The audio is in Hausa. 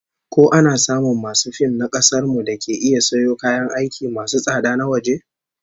Ko ana samun masu fim na kasar mu dake iya sayo kayan aiki masu tsada na waje?